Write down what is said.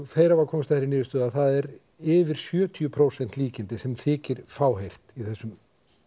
þeir hafa komist að þeirri niðurstöðu að það eru yfir sjötíu prósent líkindi sem þykir fáheyrt í þessum